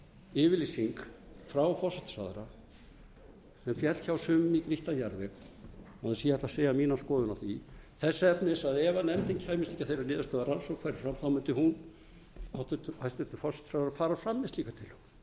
yfirlýsing frá forsætisráðherra sem féll hjá sumum í grýttan jarðveg án þess að ég ætli að segja mína skoðun á því þess efnis að ef nefndin kæmist ekki að þeirri niðurstöðu að rannsókn færi fram þá mundi hæstvirtur forsætisráðherra fara fram með slíka